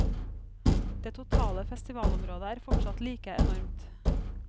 Det totale festivalområdet er fortsatt like enormt.